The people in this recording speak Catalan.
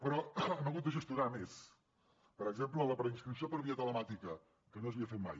però hem hagut de gestionar més per exemple la preinscripció per via telemàtica que no s’havia fet mai